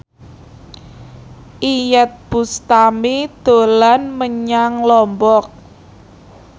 Iyeth Bustami dolan menyang Lombok